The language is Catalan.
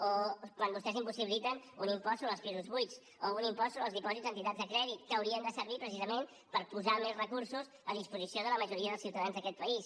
o quan vostès impossibiliten un impost sobre els pisos buits o un impost sobre els dipòsits d’entitats de crèdit que haurien de servir precisament per posar més recursos a disposició de la majoria dels ciutadans d’aquest país